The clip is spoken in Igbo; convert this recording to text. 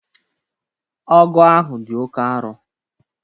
Ọgu ahụ dị oké aro